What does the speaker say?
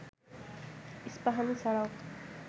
ইস্পাহানি ছাড়াও